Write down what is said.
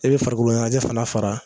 E be farikoloɲɛnɛjɛ fana fara